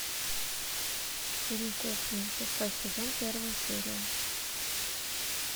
фильм кухня шестой сезон первая серия